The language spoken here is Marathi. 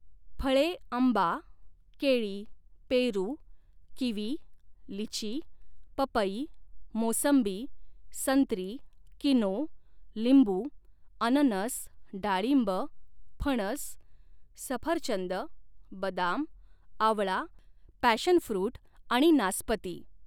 फळे आंबा, केळी, पेरू, किवी, लिची, पपई, मोसंबी, संत्री, किनो, लिंबू, अननस, डाळिंब, फणस, सफरचंद, बदाम, आवळा, पॅशन फ्रुट आणि नासपती